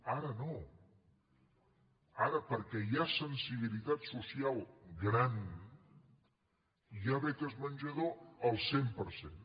ara no ara perquè hi ha sensibilitat social gran hi ha beques menjador al cent per cent